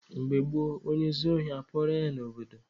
Mgbe gboo, onye zuo ohi, akpụgharịa ya n'obodo.